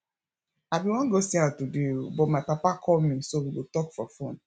i bin wan go see am today but my papa call me so we go talk for phone